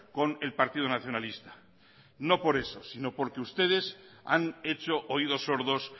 con el partido nacionalista no por eso sino porque ustedes han hecho oídos sordos